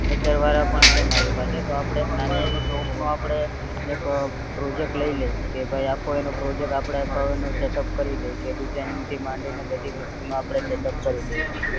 વિચાર વાળા પણ છે મારી પાસે તો આપે નાની એવી shop નો આપડે એક project લઇ લયયે કે ભય આખો એનો project આપડે છ નું setup કરી દઈએ કે design થી માંડીને બધી વસ્તુ માં setup કરી દઈએ આપડે એમ